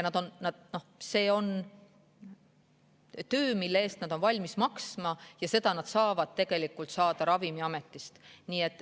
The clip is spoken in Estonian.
See on töö, mille eest nad on valmis maksma, ja seda nad saavad tegelikult Ravimiametist.